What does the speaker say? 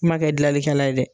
I ma kɛ gilalikɛla ye dɛ!